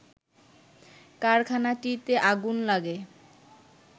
কারখানাটিতে আগুন লাগে